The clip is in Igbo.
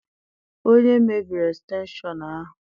Onye mebiri estenshọn ahụ?